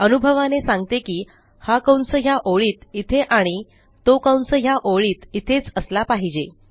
अनुभवाने सांगते की हा कंस ह्या ओळीत इथे आणि तो कंस ह्या ओळीत इथेच असला पाहिजे